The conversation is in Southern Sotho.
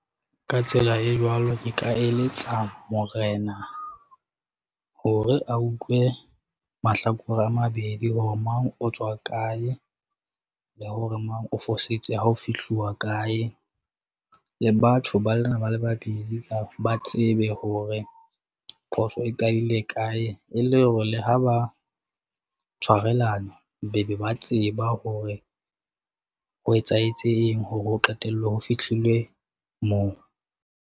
Ka tsela e jwalo ke ka eletsa morena, hore a utlwe mahlakore a mabedi hore mang o tswa kae, le hore mang o fositse ha ho fihluwa kae. Le batho bana ba le babedi ba tsebe hore phoso e qadile kae e le hore le ha ba, tshwarelana be be ba tseba hore, ho etsahetse eng hore ho qetellwe ho fihlile moo.